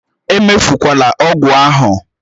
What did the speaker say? Emefukwala ọgwụ ahụ!